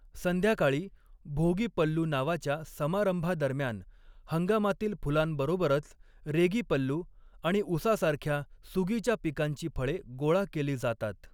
संध्याकाळी, भोगी पल्लू नावाच्या समारंभादरम्यान, हंगामातील फुलांबरोबरच रेगी पल्लू आणि उसासारख्या सुगीच्या पिकांची फळे गोळा केली जातात.